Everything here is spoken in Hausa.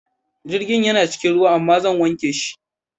Jirgin yana cikin ruwa amma zan wanke shi.